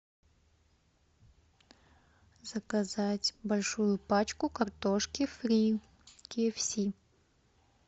заказать большую пачку картошки фри в кей эф си